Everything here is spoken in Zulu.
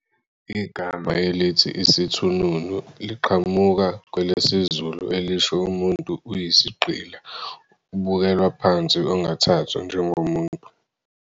Igama elithi "isithununu" liqhamuka kwelesizulu elisho 'umuntu uyisigqila, obukelwa phansi, ongathathwa njengomuntu.'